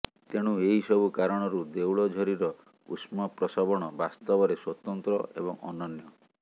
ତେଣୁ ଏହିସବୁ କାରଣରୁ ଦେଉଳଝରିର ଉଷ୍ମପ୍ରସବଣ ବାସ୍ତବରେ ସ୍ୱତନ୍ତ୍ର ଏବଂ ଅନନ୍ୟ